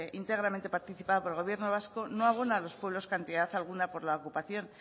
íntegramente participada por el gobierno vasco no abona a los pueblos cantidad alguna por la ocupación